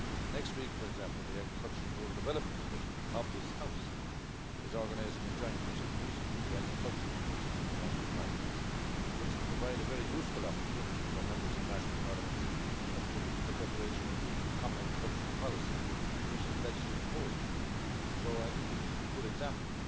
Next week, for example, the Agriculture and Rural Development Committee of this House is organising a joint meeting with the agricultural committees of the national parliaments, which will provide a very useful opportunity for members of national parliaments to contribute to the preparation of the common agricultural policy and the Commission's legislative proposal. So I think that this is a good example,